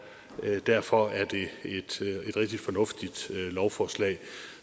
derfor er det et rigtig fornuftigt lovforslag